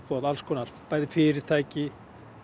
og alls konar bæði fyrirtæki